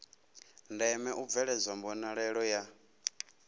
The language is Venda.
ndeme u bveledzwa mbonalelo ya